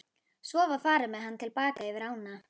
Svo var farið með hana til baka yfir ána.